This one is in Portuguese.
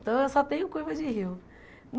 Então eu só tenho curva de rio.